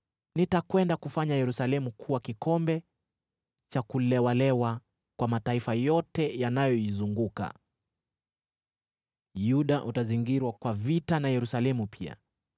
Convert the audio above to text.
“Nitakwenda kufanya Yerusalemu kuwa kikombe cha kuyumbisha mataifa yote yanayoizunguka. Yuda utazingirwa kwa vita na Yerusalemu pia.